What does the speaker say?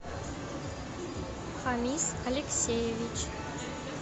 хамис алексеевич